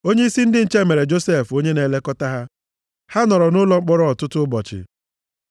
Onyeisi ndị nche mere Josef onye na-elekọta ha. Ha nọrọ nʼụlọ mkpọrọ ọtụtụ ụbọchị.